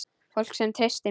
Fólk sem treysti mér.